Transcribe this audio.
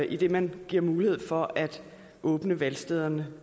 idet man giver mulighed for at åbne valgstederne